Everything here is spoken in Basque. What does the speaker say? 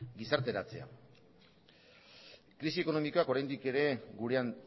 gizarteratzea krisi ekonomikoak oraindik ere gurean